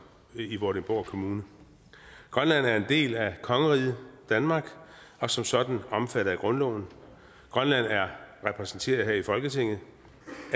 i vordingborg kommune grønland er en del af kongeriget danmark og som sådan omfattet af grundloven grønland er repræsenteret her i folketinget